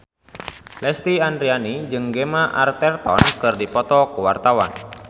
Lesti Andryani jeung Gemma Arterton keur dipoto ku wartawan